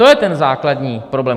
To je ten základní problém.